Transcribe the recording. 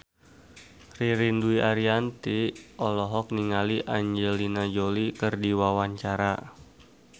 Ririn Dwi Ariyanti olohok ningali Angelina Jolie keur diwawancara